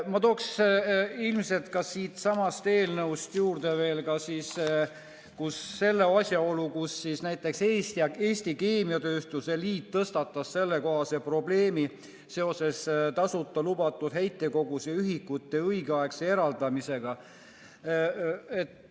Ma toon siitsamast eelnõust juurde veel selle asjaolu, et näiteks Eesti Keemiatööstuse Liit tõstatas probleemi seoses lubatud tasuta heitkoguse ühikute õigeaegse eraldamisega.